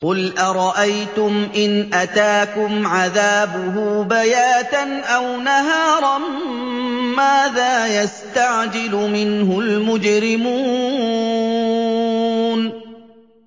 قُلْ أَرَأَيْتُمْ إِنْ أَتَاكُمْ عَذَابُهُ بَيَاتًا أَوْ نَهَارًا مَّاذَا يَسْتَعْجِلُ مِنْهُ الْمُجْرِمُونَ